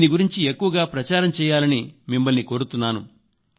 దీని గురించి ఎక్కువగా ప్రచారం చేయాలని మిమ్మల్ని కోరుతున్నాను